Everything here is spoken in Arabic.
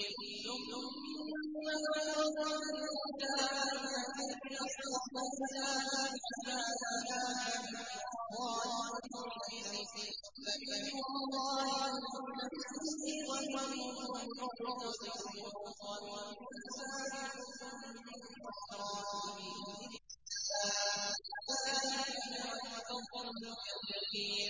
ثُمَّ أَوْرَثْنَا الْكِتَابَ الَّذِينَ اصْطَفَيْنَا مِنْ عِبَادِنَا ۖ فَمِنْهُمْ ظَالِمٌ لِّنَفْسِهِ وَمِنْهُم مُّقْتَصِدٌ وَمِنْهُمْ سَابِقٌ بِالْخَيْرَاتِ بِإِذْنِ اللَّهِ ۚ ذَٰلِكَ هُوَ الْفَضْلُ الْكَبِيرُ